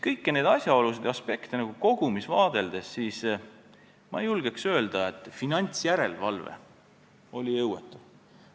Kõiki neid asjaolusid ja aspekte kogumis vaadeldes ei julgeks ma öelda, et finantsjärelevalve oli jõuetu.